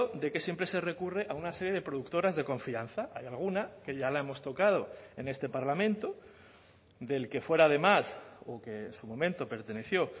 de que siempre se recurre a una serie de productoras de confianza hay alguna que ya la hemos tocado en este parlamento del que fuera además o que en su momento perteneció